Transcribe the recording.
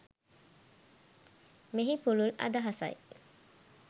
මෙහි පුළුල් අදහසයි.